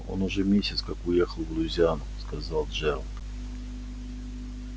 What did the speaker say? он уже месяц как уехал в луизиану сказал джералд